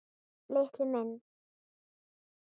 Lilli minn.